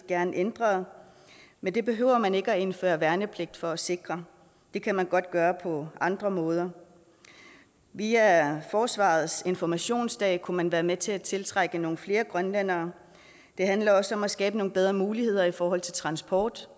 gerne ændret men det behøver man ikke at indføre værnepligt for at sikre det kan man godt gøre på andre måder via forsvarets informationsdage kunne man være med til at tiltrække nogle flere grønlændere det handler også om at skabe nogle bedre muligheder for transport